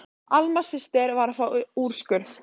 Alma systir var að fá úrskurð.